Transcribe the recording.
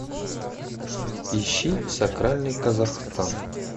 ищи сакральный казахстан